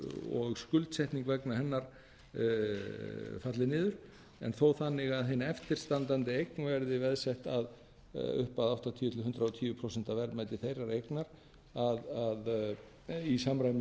og skuldsetning vegna hennar falli niður en þó þannig að hin eftirstandandi eign verði veðsett upp að áttatíu til hundrað og tíu prósent af verðmæti þeirrar eignar í samræmi